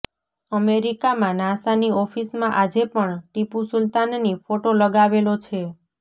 અમેરીકામાં નાસાની ઓફીસમાં આજે પણ ટીપૂ સુલતાનની ફોટો લગાવેલો છે